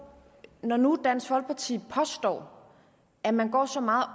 det når nu dansk folkeparti påstår at man går så meget